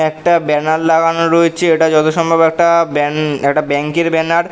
একটা ব্যানার লাগানো রয়েছে। এটা যতসম্ভব একটা ব্যান একটা ব্যাঙ্ক -এর ব্যানার ।